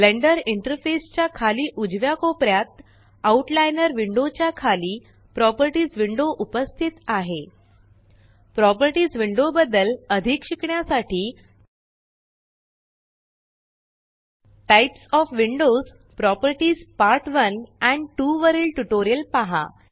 blender interface च्या खाली उजव्या कोपऱ्यात आउटलाइनर विण्डो च्या खाली प्रॉपर्टीस विण्डो उपस्थित आहे प्रॉपर्टीस विण्डो बद्दल अधिक शिकण्यासाठी types of windows properties part 1 and 2 वरील ट्यूटोरियल पहा